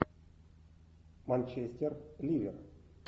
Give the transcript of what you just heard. манчестер ливер